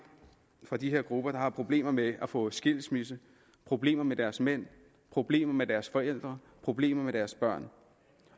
fra de her grupper der har problemer med at få skilsmisse problemer med deres mænd problemer med deres forældre problemer med deres børn